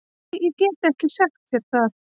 Nei, ég get ekki sagt þér það